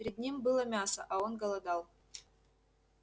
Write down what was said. перед ним было мясо а он голодал